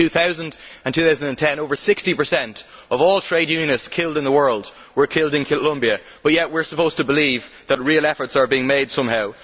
Between 2000 and 2010 over 60 of all trade unionists killed in the world were killed in Colombia, yet we are supposed to believe that real efforts are being made somehow.